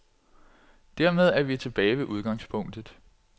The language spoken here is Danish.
Dermed er vi tilbage ved udgangspunktet.